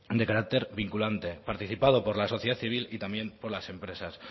de carácter vinculante participado por la sociedad civil y también por las empresas